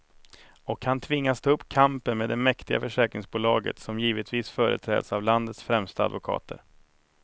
Och han tvingas ta upp kampen med det mäktiga försäkringsbolaget, som givetvis företräds av landets främsta advokater.